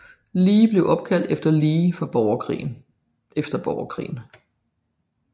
Lee blev opkaldt efter Lee efter Borgerkrigen